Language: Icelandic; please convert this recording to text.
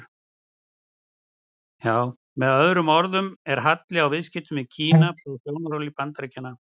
Með öðrum orðum er halli á viðskiptunum við Kína frá sjónarhóli Bandaríkjamanna.